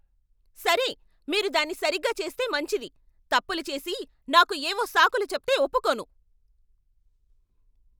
సరే, మీరు దాన్ని సరిగ్గా చేస్తే మంచిది. తప్పులు చేసి, నాకు ఏవో సాకులు చెప్తే ఒప్పుకోను.